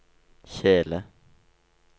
kjele